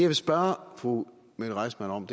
vil spørge fru mette reissmann om